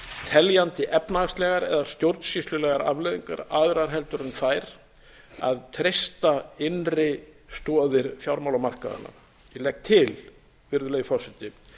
teljandi efnahagslegar eða stjórnsýslulegar afleiðingar aðrar en þær að treysta innri stoðir fjármálamarkaðanna ég legg til virðulegi forseti